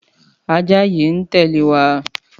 Àjá yi n tèlé wa